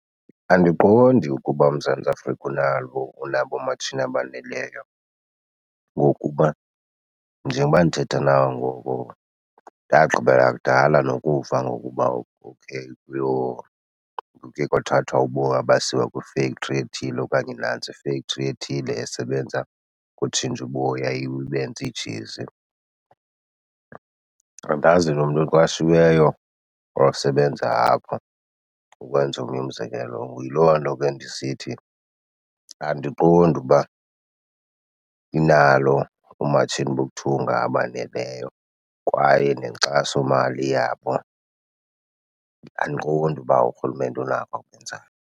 Andiqondi ukuba uMzantsi Afrika unalo, unabo oomatshini abaneleyo. Ngokuba njengoba ndithetha nawe ngoku ndagqibela kudala nokuva ngokuba okay kuye kwathathwa uboya basiwa kwifektri ethile okanye nantsi ifektri ethile esebenza ngotshintsha uboya ibenze iijezi. Andazi nomntu oqashiweyo osebenza apho, ukwenza omnye umzekelo. Yiloo nto ke ndisithi andiqondi uba inalo oomatshini bokuthunga abaneleyo kwaye nenkxasomali yabo andiqondi uba urhulumente unako akwenzayo.